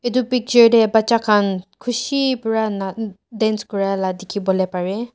Etu picture dae bacha khan kushi pra na un dance kurela dekhe bole parey.